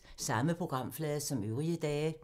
Samme programflade som øvrige dage